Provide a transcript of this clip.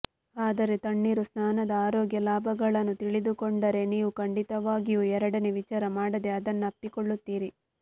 ಆದರೆ ತಣ್ಣೀರು ಸ್ನಾನದ ಆರೋಗ್ಯ ಲಾಭಗಳನ್ನು ತಿಳಿದುಕೊಂಡರೆ ನೀವುಖಂಡಿತವಾಗಿಯೂ ಎರಡನೇ ವಿಚಾರ ಮಾಡದೆ ಅದನ್ನಪ್ಪಿಕೊಳ್ಳುತ್ತೀರಿ